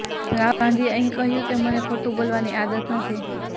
રાહુલ ગાંધીએ અહીં કહ્યું કે મને ખોટું બોલવાની આદત નથી